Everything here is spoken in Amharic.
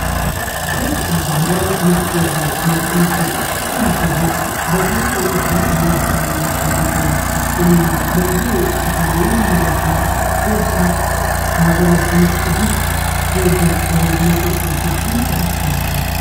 ፔፕሲ በሀገራችን ውስጥ ተወዳጅ ከሆኑት ምርቶች ዉስጥ አንዱ ሲሆን በሙሃ የለስላሳና ፋብሪካዎቹ የሚመረት በቡሬ ከተማ የሚመረት ሲሆን ሀገራችን ውስጥ እጅግ ተወዳጅ ከሆኑት ውስጥ መካከል ነው።